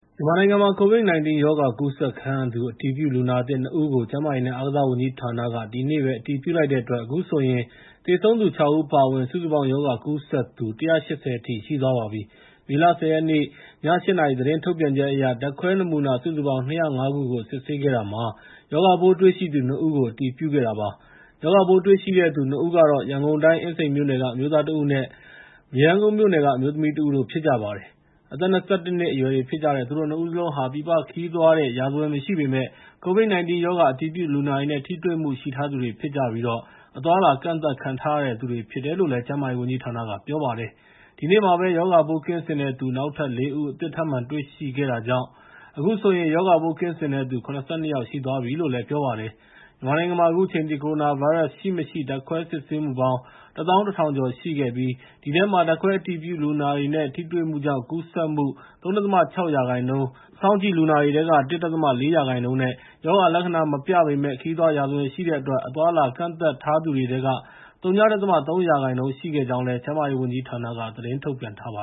မြန်မာနိုင်ငံမှာ COVID-19 ရောဂါ ကူးစက်ခံရသူ အတည်ပြုလူနာသစ် ၂ ဦးကို ကျန်းမာရေးနဲ့ အားကစားဝန်ကြီးဌာနက ဒီနေ့ပဲ အတည်ပြုလိုက်တဲ့အတွက် အခုဆိုရင် သေဆုံးသူ ၆ ဦး အပါအဝင် စုစုပေါင်း ရောဂါကူးစက်သူ ၁၈၀ အထိ ရှိသွားပါပြီ။ မေလ ၁၀ ရက်နေ့ ည ၈ နာရီ သတင်းထုတ်ပြန်ချက်အရ ဓာတ်ခွဲနမူနာ စုစုပေါင်း ၂၀၅ ခုကို စစ်ဆေးခဲ့တာမှာ ရောဂါပိုးတွေ့ရှိသူ ၂ ဦးကို အတည်ပြုခဲ့တာပါ။ ရောဂါပိုးတွေ့ရှိတဲ့သူ ၂ ဦးကတော့ ရန်ကုန်တိုင်း အင်းစိန်မြို့နယ်က အမျိုးသားတဦးနဲ့ မရမ်းကုန်းမြို့နယ်က အမျိုးသမီးတဦးတို့ ဖြစ်ကြပါတယ်။ အသက် ၂၁ နှစ်အရွယ်တွေ ဖြစ်ကြတဲ့ သူတို့ ၂ ဦးစလုံးဟာ ပြည်ပခရီးသွားထားတဲ့ ရာဇဝင် မရှိပေမယ့် COVID-19 ရောဂါ အတည်ပြုလူနာတွေနဲ့ ထိတွေ့မှု ရှိထားသူတွေဖြစ်ကြပြီး အသွားအလာ ကန့်သတ်ခံထားရသူတွေ ဖြစ်တယ်လို့လည်း ကျန်းမာရေးဝန်ကြီးဌာနက ပြောပါတယ်။ ဒီနေ့မှာပဲ ရောဂါပိုးကင်းစင်တဲ့သူ နောက်ထပ် ၄ ဦး အသစ်ထပ်မံ တွေ့ရှိခဲ့တာကြောင့် အခုဆိုရင် ရောဂါပိုးကင်းစင်တဲ့သူ ၇၂ ယောက် ရှိသွားပြီလို့လည်း ပြောပါတယ်။ မြန်မာနိုင်ငံမှာ အခုချိန်ထိ ကိုရိုနာဗိုင်းရပ်စ် ရှိမရှိ ဓာတ်ခွဲစစ်ဆေးမှုပေါင်း ၁၁,၀၀၀ ကျော် ရှိခဲ့ပြီး ဒီအထဲမှာ ဓာတ်ခွဲအတည်ပြုလူနာတွေနဲ့ ထိတွေ့မှုကြောင့် ကူးစက်မှု ၃.၆ ရာခိုင်နှုန်း၊ စောင့်ကြည့်လူနာတွေထဲက ၁.၄ ရာခိုင်နှုန်းနဲ့ ရောဂါလက္ခဏာ မပြပေမယ့် ခရီးသွားရာဇဝင် ရှိတဲ့အတွက် အသွားအလာ ကန့်သတ်ထားသူတွေထဲက ဝ.၃ ရာခိုင်နှုန်း ရှိခဲ့ကြောင်းလည်း ကျန်းမာရေးဝန်ကြီးဌာနက သတင်းထုတ်ပြန်ထားပါ